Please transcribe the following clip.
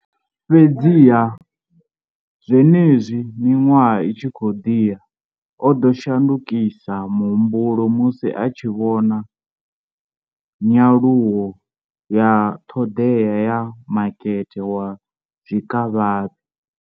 Fhedziha, zwenezwi miṅwaha i tshi khou ḓi ya, o ḓo shandukisa muhumbulo musi a tshi vhona nyaluwo ya ṱhoḓea ya makete wa zwikavhavhe.